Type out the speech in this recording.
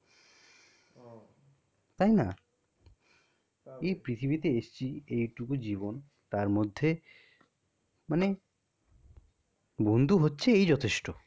তাইনা? এই পৃথিবীতে এসেছি এইটুকু জীবন তার মধ্যে মানে, বন্ধু হচ্ছে এই যথেষ্ট।